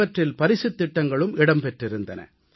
இவற்றில் பரிசுத் திட்டங்களும் இடம் பெற்றிருந்தன